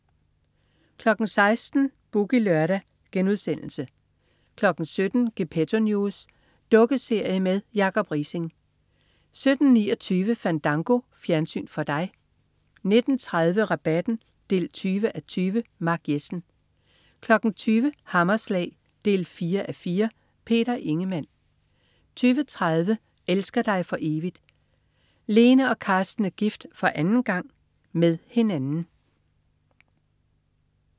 16.00 Boogie Lørdag* 17.00 Gepetto News. Dukkeserie med Jacob Riising 17.29 Fandango. Fjernsyn for dig 19.30 Rabatten 20:20. Mark Jessen 20.00 Hammerslag 4:4. Peter Ingemann 20.30 Elsker dig for evigt? Lene og Carsten er gift for anden gang. Med hinanden